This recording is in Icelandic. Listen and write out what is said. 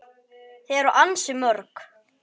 Þau eru ansi mörg.